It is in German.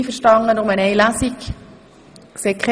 Sind Sie einverstanden, dass wir nur eine Lesung durchführen?